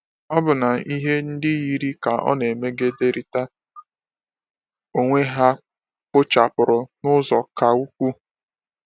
Ọbụna ihe ndị yiri ka ọ na-emegiderịta onwe ha kpochapụrụ n’ụzọ ka ukwuu.